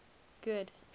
good